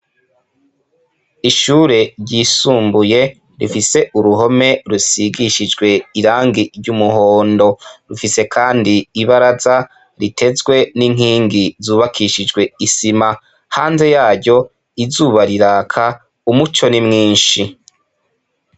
Ishure ryisumbuye rifise uruhome rusigishijwe irangi ry'umuhondo. Rufise kandi ibaraza ritezwe n'inkingi zubakishijwe isima, hanze yaryo izuba riraka umuco ni mwinshi.